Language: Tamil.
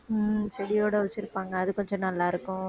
உம் செடியோட வச்சிருப்பாங்க அது கொஞ்ச நல்லாருக்கும்